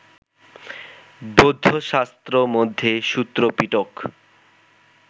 বৌদ্ধশাস্ত্র মধ্যে সূত্রপিটক